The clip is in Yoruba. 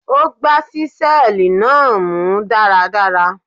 Ó gbá ṣíṣẹ́ẹ̀lì náà mú dáradára.